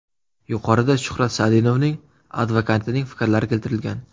Yuqorida Shuhrat Sadinovning advokatining fikrlari keltirilgan.